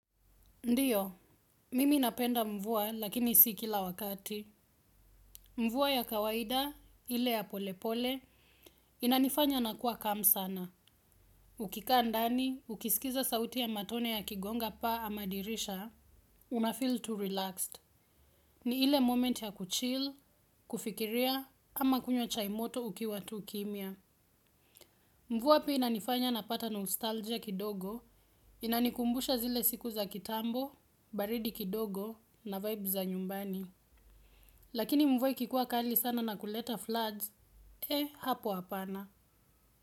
Ndiyo, mimi napenda mvua lakini si kila wakati. Mvua ya kawaida, ile ya polepole, inanifanya nakuwa kam sana. Ukikaa ndani, ukisikiza sauti ya matone ya kigonga pa ama dirisha, unafeel tu relaxed. Ni ile moment ya kuchil, kufikiria, ama kunywa chaimoto ukiwa tu kimia. Mvua pia inanifanya napata nostalgia kidogo, inanikumbusha zile siku za kitambo, baridi kidogo na vibe za nyumbani. Lakini mvua ikikuwa kali sana na kuleta floods hapo hapana.